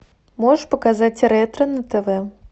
можешь показать ретро на тв